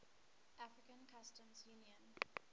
african customs union